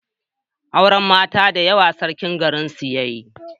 auren mata da yawa sarkin garin su yayi